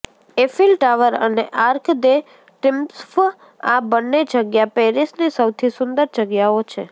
Eiffel Tower અને Arc de Triomphe આ બંને જગ્યા પેરિસની સૌથી સુંદર જગ્યાઓ છે